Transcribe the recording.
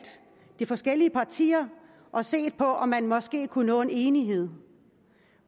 de forskellige partier og set på om man måske kunne nå en enighed